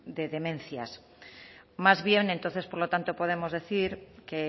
de demencias más bien entonces por lo tanto podemos decir que